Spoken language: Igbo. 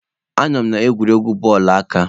Anọ m n'egwuregwu bọọlụ aka.